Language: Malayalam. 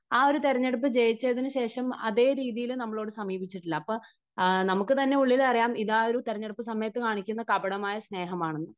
ആ ഒരു തെരഞ്ഞെടുപ്പ് ജയിച്ചതിനു ശേഷം അതേ രീതിയിൽ നമ്മളോട് സമീപിച്ചിട്ടില്ല. അപ്പോൾ നമുക്ക് തന്നെ ഉള്ളിൽ അറിയാം ഇതാ ഒരു തെരഞ്ഞെടുപ്പ് സമയത്ത് കാണിക്കുന്ന കപടമായ സ്നേഹമാണെന്ന്.